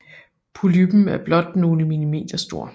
Polyppen er blot nogle millimeter stor